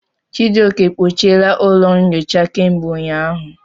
Chijioke, kpochiela ụlọ nyocha kemgbe ụnyahụ.